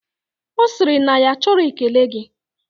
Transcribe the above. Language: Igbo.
Osiri na ya achoro ekele gi